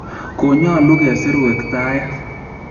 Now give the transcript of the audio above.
Konyoululu kesir wektaaet